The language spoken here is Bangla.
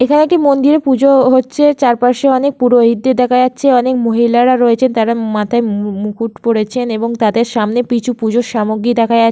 এখানে একটি মন্দিরে পুজো-ও হচ্ছে চারপাশে অনেক পুরোহিতদের দেখা যাচ্ছে অনেক মহিলারা রয়েছে তারা মাথায় মু মু-উ মুকুট পরেছেন এবং তাদের সামনে কিছু পূজোর সামগ্রী দেখা যাচ --